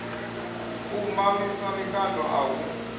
u mamisa mikando a hu